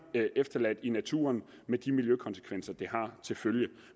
efterladt i naturen med de miljøkonsekvenser det har til følge